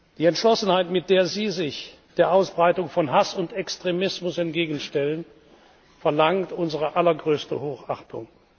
Die Entschlossenheit, mit der Sie sich der Ausbreitung von Hass und Extremismus entgegenstellen, verlangt unsere allergrößte Hochachtung.